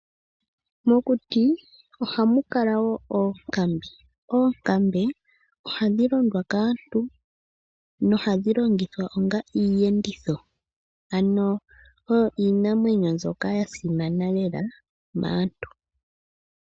Mokuti ohamu kala wo oonkambe. Oonkambe ohadhi londwa kaantu. Oha dhi longithwa onga iiyenditho. Ano oyo iinamwenyo mbyoka ya simana lela maantu.